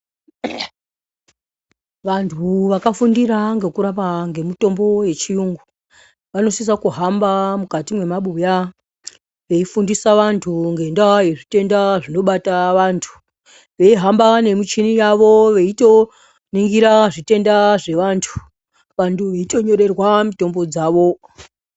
Vantu vakafundira ngekurapa ngemitombo yechiyungu. Vanosisa kuhamba mukati mwemabuya veifundisa vantu ngendaa yezvitenda zvinobata vantu. Veihamba nemichini yavo veitoningira zvitenda zvevantu. vantu veitonyorerwa mitombo dzavo.